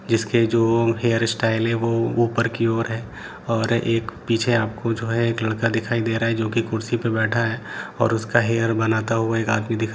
जिसके जो hair style है वो ऊपर की ओर है और एक पीछे आपको जो है एक लड़का दिखाई दे रहा है जो की कुर्सी पर बैठा है और उसका हेयर बनाता हुआ एक आदमी दिख --